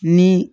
Ni